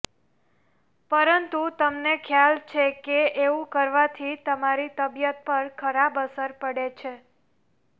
પરંતુ તમને ખ્યાલ છે કે એવું કરવાથી તમારી તબિયત પર ખરાબ અસર પડે છે